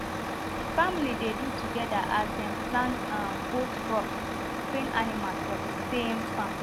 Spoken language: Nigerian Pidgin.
the family dey do together as dem plant um both crops and train animals for thesame farm